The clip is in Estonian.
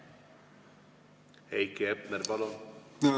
Heiki Hepner, palun!